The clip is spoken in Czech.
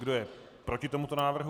Kdo je proti tomuto návrhu?